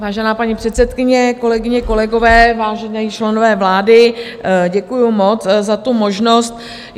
Vážená paní předsedkyně, kolegyně, kolegové, vážení členové vlády, děkuji moc za tu možnost.